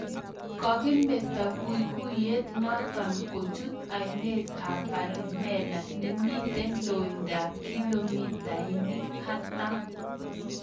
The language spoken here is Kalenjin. Kakimetoo kuikuiyet notok kochut ainet ab palimela nemitee loindaap kilomitainik artam